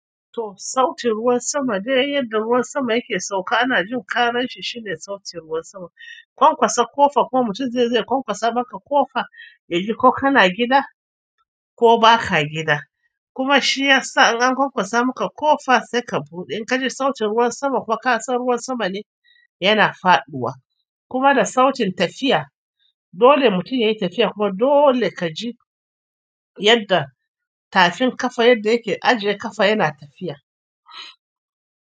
To, sautin ruwan sama dai yadda ruwan sama yake sauka ana jin ƙararshi shine sautin ruwan sama. Ƙwanƙwasa ƙofa kuma mutum ne zai ƙwanƙwasa maka ƙofa yaji ko kana gida ko baka gida kuma shiya sa in an ƙwanƙwasa maka ƙofa sai ka buɗe in ka ji sautin ruwan sama kuma ƙasan ruwan sama ne yana faɗuwa kuma da sautin tafiya dole mutum yayi tafiya kuma dole kaji yadda tafin ƙafa yadda yake ajiye ƙafa yana tafiya.